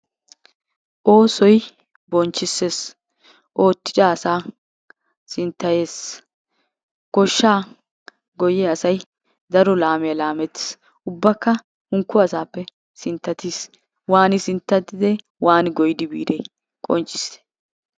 Oosoy bonchchissees. Oottida asaa sinttayees. Goshshaa goyyiya asay daro laammiya laammetees. Ubbaka hankko asappe sinttatiis. Waani sinttatide? Waani goyyidi biide? Qonccissite.